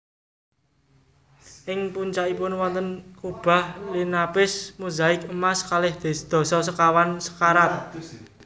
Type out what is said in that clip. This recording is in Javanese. Ing puncakipun wonten kubah linapis mozaik emas kalih dasa sekawan karat